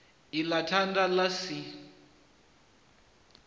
i ḽa thanda ḽa si